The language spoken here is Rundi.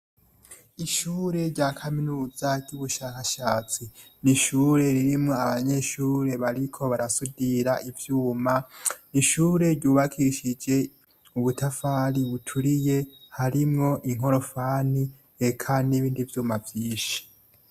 Ishure rya kaminuza ry'ubushakashatsi ni ishure ririmwo abanyeshure bariko barasudira ivyuma ; ishure ryubakishije ubutafari buturiye harimwo inkorofani , eka n'ibindi vyuma vyishi.